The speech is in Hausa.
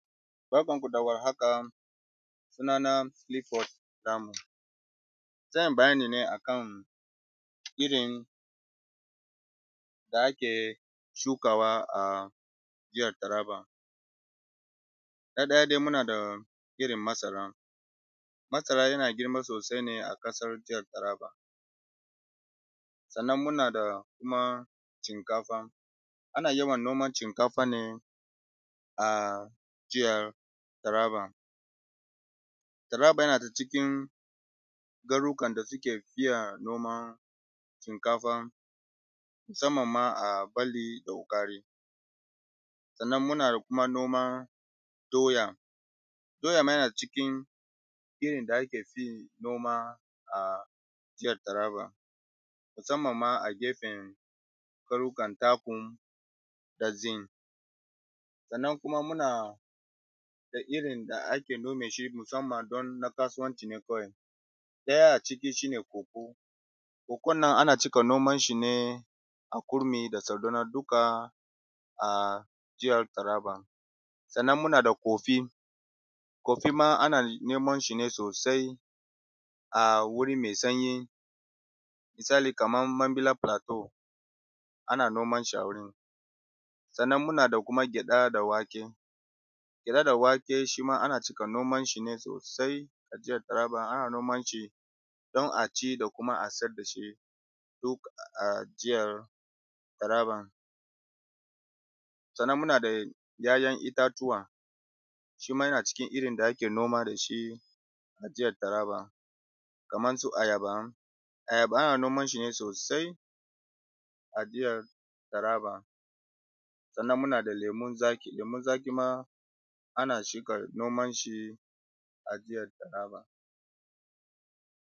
Barkan ku da warhaka, suna na Cliffort Lanum. Zan yi bayani ne akan irin da ake shukawa a jihar Taraba. Na ɗaya dai muna da irin masara, masara yana girma sosai ne a ƙasar jihar Taraba. Sannan muna da kuma shinkafa, ana yawan noman shinkafa ne a jihar Taraba. Taraba yana daga cikin garuruwan da suke fiye noman shinkafa musamman ma a balli da hukari. Sannan muna kuma noman doya, doya ma yana cikin irin da aka fi yin noma a jihar Taraba musamman ma a gefen ƙauyukan Takum da Zin. Sannan kuma muna da irin da ake nome shi musamman don na kasuwanci ne kawai, ɗaya a ciki shine koko, kokon nan ana cika noman shi ne a Kurmi da Sardauna duka a jihar Taraba. Sannan muna da kofi coffee, kofi ma ana noman shi ne sosai a wuri mai sanyi misali kamar Mambila Plateau ana noman shi a wurin. Sannan muna da kuma gyaɗa da wake, gyaɗa da wake shima ana cika noman shi ne sosai a jihar Taraba. Ana noman shi don a ci da kuma a sayar da shi duk a jihar Taraba. Barkan ku da warhaka, suna na Cliffort Lanum. Zan yi bayani ne akan irin da ake shukawa a jihar Taraba. Na ɗaya dai muna da irin masara, masara yana girma sosai ne a ƙasar jihar Taraba. Sannan muna da kuma shinkafa, ana yawan noman shinkafa ne a jihar Taraba. Taraba yana daga cikin garuruwan da suke fiye noman shinkafa musamman ma a balli da hukari. Sannan muna kuma noman doya, doya ma yana cikin irin da aka fi yin noma a jihar Taraba musamman ma a gefen ƙauyukan Takum da Zin. Sannan kuma muna da irin da ake nome shi musamman don na kasuwanci ne kawai, ɗaya a ciki shine koko, kokon nan ana cika noman shi ne a Kurmi da Sardauna duka a jihar Taraba. Sannan muna da kofi coffee, kofi ma ana noman shi ne sosai a wuri mai sanyi misali kamar Mambila Plateau ana noman shi a wurin. Sannan muna da kuma gyaɗa da wake, gyaɗa da wake shima ana cika noman shi ne sosai a jihar Taraba, ana noman shi don a ci da kuma a sayar da shi duk a jihar Taraba.